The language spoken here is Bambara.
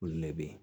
Olu ne be yen